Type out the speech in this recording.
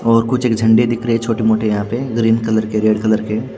और कुछ एक झंडे दिख रहे हैं छोटे-मोटे यहाँ पे ग्रीन कलर के रेड कलर के।